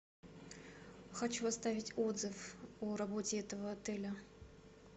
хочу оставить отзыв о работе этого отеля